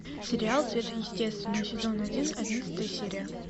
сериал сверхъестественное сезон один одиннадцатая серия